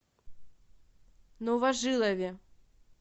новожилове